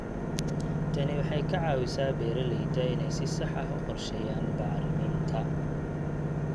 Tani waxay ka caawisaa beeralayda inay si sax ah u qorsheeyaan bacriminta.